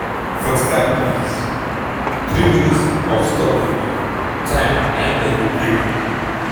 45 mins- 3 min. of stoppage-time n aim dey go play.